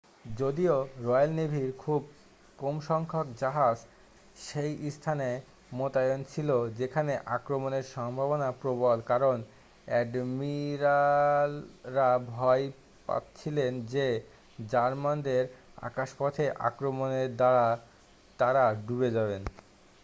যদিও রয়্যাল নেভির খুব কম সংখ্যক জাহাজ সেই স্থানে মোতায়েন ছিল যেখানে আক্রমণের সম্ভাবনা প্রবল কারণ অ্যাডমিরালরা ভয় পাচ্ছিলেন যে জার্মানদের আকাশপথে আক্রমণের দ্বারা তাঁরা ডুবে যাবেন